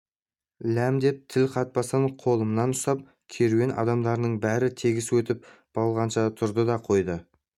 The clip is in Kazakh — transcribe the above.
ләм деп тіл қатпастан қолымнан ұстап керуен адамдарының бәрі тегіс өтіп болғанша тұрды да қойды